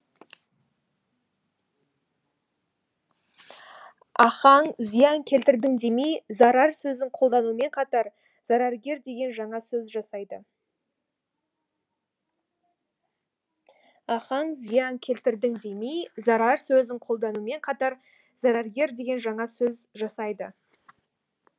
ахаң зиян келтірдің демей зарар сөзін қолданумен қатар зараргер деген жаңа сөз жасайды ахаң зиян келтірдің демей зарар сөзін қолданумен қатар зараргер деген жаңа сөз жасайды